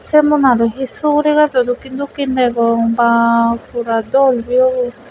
se ubonot u he suguri gajo dokkin dokkin degong baa pura dol view bu.